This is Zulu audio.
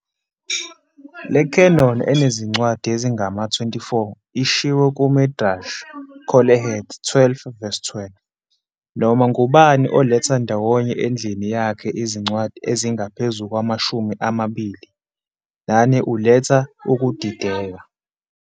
Le canon enezincwadi ezingama-24 ishiwo kuMidrash Koheleth 12-12- "Noma ngubani oletha ndawonye endlini yakhe izincwadi ezingaphezu kwamashumi amabili nane uletha ukudideka".